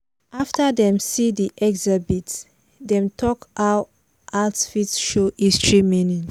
after dem see di exhibit dem talk how art fit show history meaning.